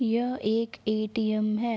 यह एक A T M है।